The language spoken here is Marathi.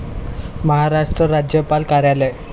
महाराष्ट्र राज्यपाल कार्यालय.